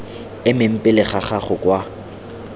emeng pele ga gago kwa